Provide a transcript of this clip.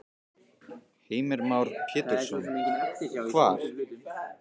Heimir Már Pétursson: Hvar?